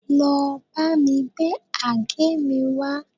Lọ bámi gbé àgé mi wá